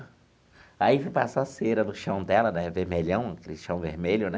Aí eu fui passar cera no chão dela né, vermelhão, aquele chão vermelho, né?